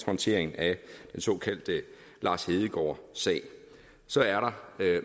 håndteringen af den såkaldte lars hedegaard sag så er der